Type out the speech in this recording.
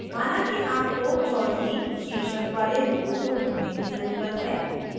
माना कि आपको choudhary choudhury शीर्षक वाले लोगों को ढूँढने की ज़रुरत है